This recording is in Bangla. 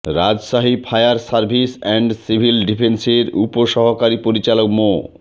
Rajshahi fire service and civil ডিফেন্সের উপসহকারী পরিচালক মো